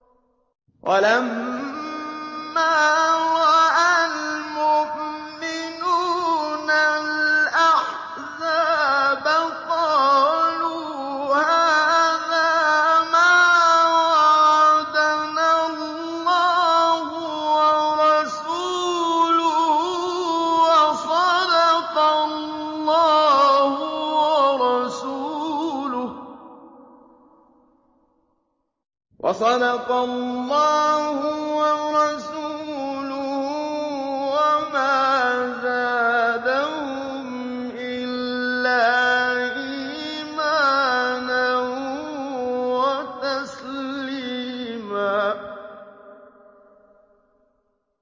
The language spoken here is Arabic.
وَلَمَّا رَأَى الْمُؤْمِنُونَ الْأَحْزَابَ قَالُوا هَٰذَا مَا وَعَدَنَا اللَّهُ وَرَسُولُهُ وَصَدَقَ اللَّهُ وَرَسُولُهُ ۚ وَمَا زَادَهُمْ إِلَّا إِيمَانًا وَتَسْلِيمًا